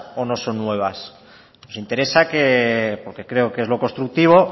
o no son nuevas nos interesa porque creo que es lo constructivo